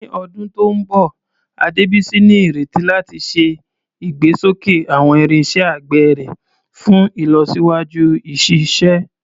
Ní ọdún tó ń bọ̀, Adebisi ní ìrètí láti ṣe ìgbésókè àwọn irinṣẹ́ àgbẹ̀ rẹ̀ fún ìlọsíwájú ìṣiṣẹ́.